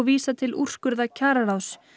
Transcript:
vísa til úrskurða kjararáðs